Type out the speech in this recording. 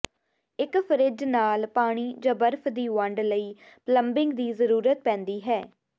ਇੱਕ ਫਰਿੱਜ ਨਾਲ ਪਾਣੀ ਜਾਂ ਬਰਫ਼ ਦੀ ਵੰਡ ਲਈ ਪਲੰਬਿੰਗ ਦੀ ਜ਼ਰੂਰਤ ਪੈਂਦੀ ਹੈ